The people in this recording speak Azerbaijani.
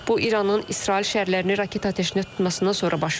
Bu İranın İsrail şəhərlərini raket atəşinə tutmasından sonra baş verib.